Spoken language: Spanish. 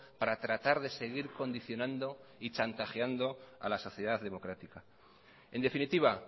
para tratar de seguir condicionando y chantajeando a la sociedad democrática en definitiva